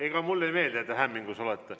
Ega mulle ei meeldi, et te hämmingus olete.